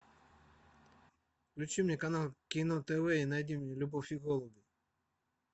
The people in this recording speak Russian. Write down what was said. включи мне канал кино тв и найди мне любовь и голуби